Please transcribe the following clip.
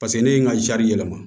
Paseke ne ye n ka yɛlɛma